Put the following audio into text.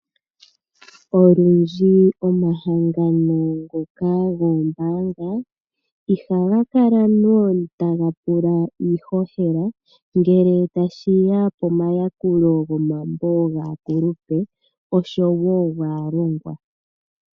Olundji omahangano ngoka goombaanga ihaga kala lela taga pula iihohela ngele tashi ya pomayakulo gomambo gaakulupe osho wo gaalongwa.